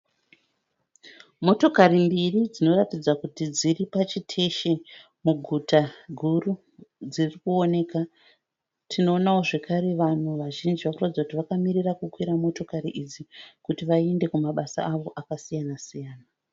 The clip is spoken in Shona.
Motokari mbiri dzinoratidza kuti dziri pachiteshi muguta guru dziri kuonekwa. Tinoonawo zvakare vanhu vazhinji vari kuratidza kuti vakamirira kukwira motikari idzi kuti vaende kumabasa avo akasiyana siyana.